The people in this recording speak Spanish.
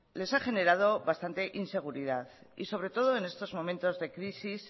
les ha generado bastante inseguridad y sobre todo en estos momentos de crisis